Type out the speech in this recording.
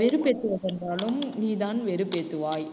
வெறுப்பேத்துவது என்றாலும் நீதான் வெறுப்பேத்துவாய்